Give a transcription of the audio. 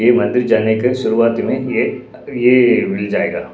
ये मंदिर जाने का शुरुआत में येये मिल जाएगा।